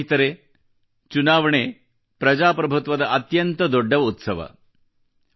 ಸ್ನೇಹಿತರೆ ಚುನಾವಣೆ ಪ್ರಜಾಪ್ರಭುತ್ವದ ಅತ್ಯಂತ ದೊಡ್ಡ ಉತ್ಸವವಾಗಿದೆ